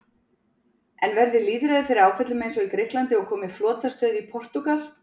En verði lýðræðið fyrir áföllum eins og í Grikklandi og komi flotastöð í Portúgal?